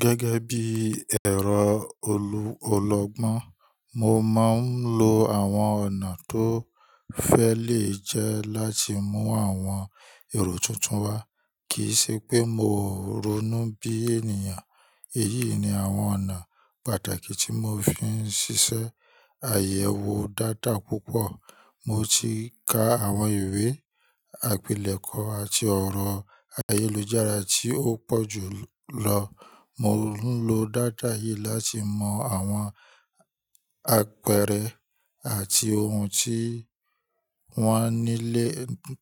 Gẹ́gẹ́ bí ẹ̀rọ ọlọ́gbọ́n, mo máa ń lo àwọn ọ̀nà tó fẹ́ lè jẹ́ láti mú àwọn èrò tuntun wá, kì í ṣe pé mó ronú bí ènìyàn. Èyí ni àwọn ọ̀nà pàtàkì tí mò ń fi ń ṣiṣẹ́: Àyẹ̀wò data púpọ̀: Mo ti ka àwọn ìwé, àpilẹ̀kọ àti ọ̀rọ̀ ayélujára tí ó pọ̀ jù lọ. Mò ń lo data yìí láti mọ àwọn àpẹẹrẹ àti ohun tí wọ́n nílé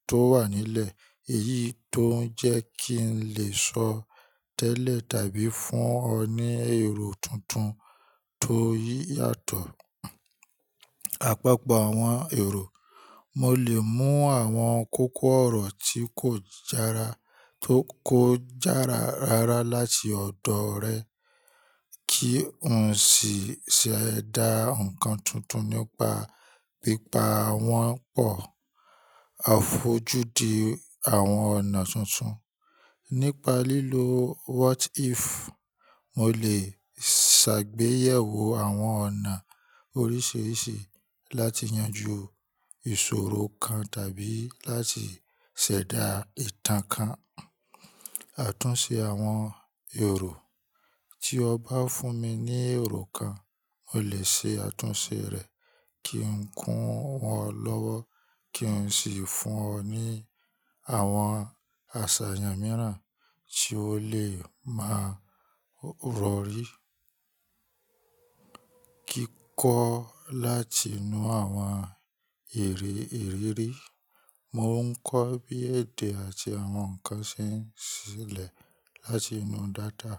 tó wà nílẹ̀. Èyí tó ń jẹ́ kí n lè sọ tẹ́lẹ̀ tàbí fún ọ ní èrò tuntun tó yàtọ̀. Àpapọ̀ àwọn èrò: Mo lè mú àwọn kókó ọ̀rọ̀ tí kò jára tó kó jára rárá láti ọ̀dọ̀ rẹ kí n sì ṣẹ̀dá ǹkan tuntun nípa pípa wọ́n pọ̀. Àfojúdi àwọn ọ̀nà tuntun: Nípa lílo "what if," mo lè ṣàgbéyẹ̀wò àwọn ọ̀nà oríṣiríṣi láti yanjú ìṣòro kan tàbí láti ṣẹ̀dá ìtàn kan. Àtúnṣe àwọn èrò: Tí o bá fún mi ní èrò kan, mo lè ṣe àtúnṣe rẹ̀ kí n kún ọ lọ́wọ́ kí n sì fún ọ ní àwọn àṣàyàn mìíràn tí o lè máa rọyi Kíkọ́ láti inú àwọn èrè ìrírí: Mo ń kọ́ bí èdè àti àwọn ǹkan ṣe ń ṣẹlẹ̀ láti inú data.